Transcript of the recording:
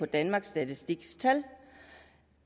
danmarks statistiks tal